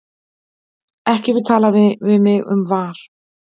Ekki tala við mig um VAR.